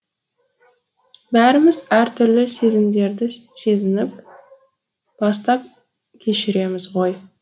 бәріміз әртүрлі сезімдерді сезініп бастан кешіреміз ғой